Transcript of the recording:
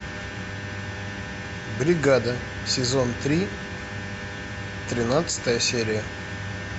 бригада сезон три тринадцатая серия